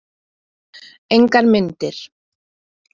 Engar myndir.